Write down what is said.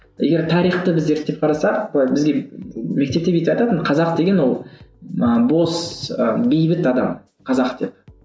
егер тарихты біз зерттеп қарасақ былай бізге мектепте бүйтіп айтатын қазақ деген ол ы бос ы бейбіт адам қазақ деп